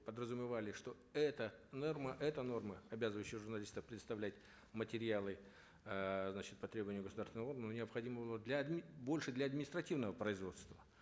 подразумевали что эта норма эта норма обязывающая журналистов предоставлять материалы эээ значит по требованию государственного органа необходимого для больше для административного производства